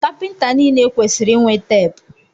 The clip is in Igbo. Kapịnta niile kwesịrị inwe teepu.